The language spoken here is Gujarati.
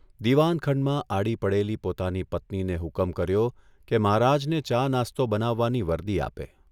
દીવાનખંડમાં આડી પડેલી પોતાની પત્નીને હુકમ કર્યો કે મહારાજને ચા નાસ્તો બનાવવાની વર્દી આપે.